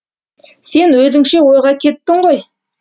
сен өзіңше ойға кеттің ғой